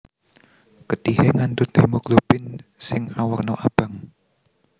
Getihé ngandhut hemoglobin sing awerna abang